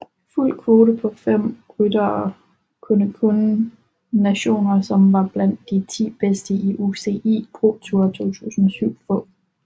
Fuld kvote på fem ryttere kunne kun nationer som var blandt de ti bedste i UCI ProTour 2007 få